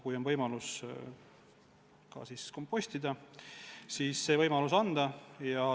Kui on võimalus kompostida, siis tuleb see võimalus anda.